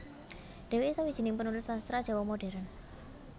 Dheweke sawijining penulis sastra Jawa Modern